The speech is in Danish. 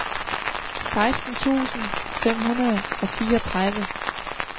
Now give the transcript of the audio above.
seksten tusind fem hundrede og fireogtredive